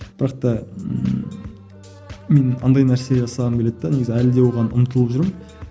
бірақ та ммм мен андай нәрсе жасағым келеді де негізі әлі де оған ұмтылып жүрмін